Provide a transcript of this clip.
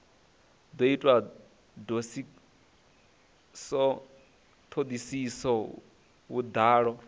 do itwa thodisiso nga vhudalo